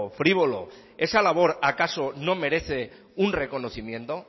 frívolo esa labor acaso no merece un reconocimiento